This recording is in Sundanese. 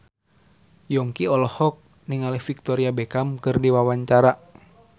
Yongki olohok ningali Victoria Beckham keur diwawancara